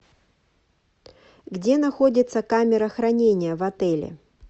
где находится камера хранения в отеле